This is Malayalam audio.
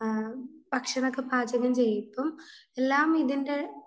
ഭക്ഷണമൊക്കെ പാചകം ചെയ്യും ഇപ്പോ എല്ലാം ഇതിന്റെ